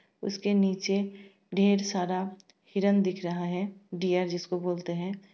उसके नीचे ढेर सारा हिरण दिख रहा है डीयर जिसको बोलते हैं।